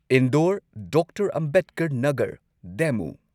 Indore doctor Ambedkar Nagar ꯗꯦꯃꯨ